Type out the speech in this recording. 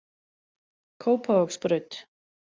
Kópavogsbraut